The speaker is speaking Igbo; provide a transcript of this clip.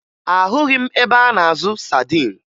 Ahụghị m ebe a na-azụ sadin